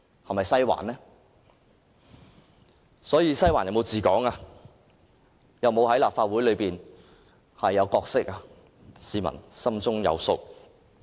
因此，"西環"有否治港及在立法會有否擔當任何角色，市民心中有數。